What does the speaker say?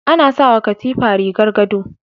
Ana sawa katifa rigar gado